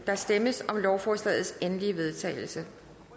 der stemmes om lovforslagets endelige vedtagelse